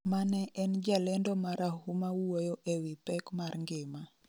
mane en jalendo marahuma wuoyo e wi pek mar ngima